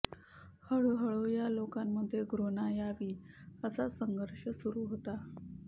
हळुहळू या लोकांमध्ये घृणा यावी असा संघर्ष सुरू होतो